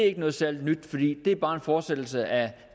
er noget særlig nyt fordi det bare er en fortsættelse af